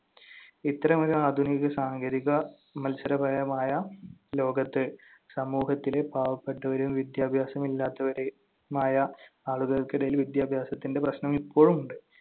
ഇത്തരമൊരു ആധുനിക സാങ്കേതിക മത്സരപരമായ ലോകത്ത്, സമൂഹത്തിലെ പാവപ്പെട്ടവരും വിദ്യാഭ്യാസമില്ലാത്തവര്~മായ ആളുകൾക്കിടയിൽ വിദ്യാഭ്യാസത്തിന്‍റെ പ്രശ്നം ഇപ്പോഴും ഉണ്ട്.